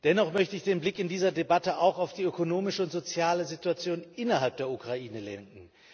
Dennoch möchte ich den Blick in dieser Debatte auch auf die ökonomische und soziale Situation innerhalb der Ukraine lenken.